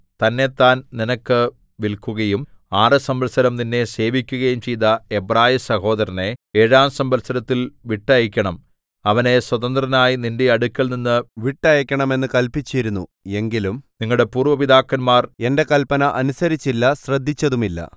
തന്നെത്താൻ നിനക്ക് വില്ക്കുകയും ആറുസംവത്സരം നിന്നെ സേവിക്കുകയും ചെയ്ത എബ്രായസഹോദരനെ ഏഴാം സംവത്സരത്തിൽ വിട്ടയയ്ക്കണം അവനെ സ്വതന്ത്രനായി നിന്റെ അടുക്കൽനിന്ന് വിട്ടയയ്ക്കണം എന്ന് കല്പിച്ചിരുന്നു എങ്കിലും നിങ്ങളുടെ പൂര്‍വ്വ പിതാക്കന്മാർ എന്റെ കല്പന അനുസരിച്ചില്ല ശ്രദ്ധിച്ചതുമില്ല